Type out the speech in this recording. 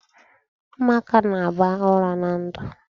Umuaka na-aba uru na ndụ.